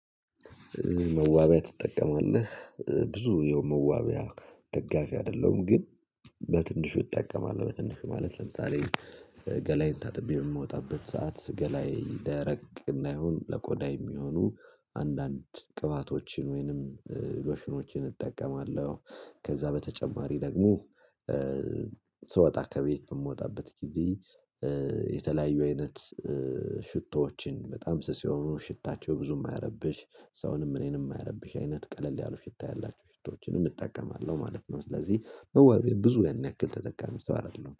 መዋቢያ ትጠቀማለህ ብዙ የመዋቢያ ደጋፊ አይደለሁም ግን በትንሹ እጠቀማለሁ። በትንሹ ማለት ለምሳሌ ገላይን ታጥቤ የምወጣበት ሰዓት ገላየ ደረቅ እንዳይሆን ለቆዳ የሚሆኑ አንዳንድ ቅባቶችን ወይንም ሎሽኖችን እጠቀማለሁ። ከዛ በተጨማሪ ደግሞ ስወጣ ከቤት በምወጣበት ጊዜ የተለያዩ አይነት ሽቶዎችን በጣም ስስ የሆኑ ሽታቸው ብዙ የማይረብሽ ሰውንም እኔንም የማይረብሽ አይነት ቀለል ያሉ ሽታ ያላቸው ሽታዎችን እጠቀማለሁ ማለት ነው። ስለዚህ በወቤ ብዙ ያን ያክል ተጠቃሚ ሰው አይደለሁም